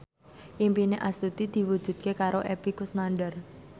impine Astuti diwujudke karo Epy Kusnandar